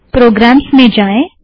programmes में जाएं